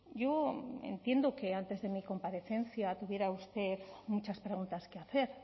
yo entiendo que antes de mi comparecencia tuviera usted muchas preguntas que hacer